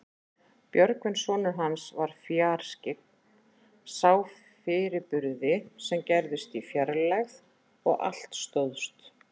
Björgvin sonur hans var fjarskyggn, sá fyrirburði sem gerðust í fjarlægð og allt stóðst.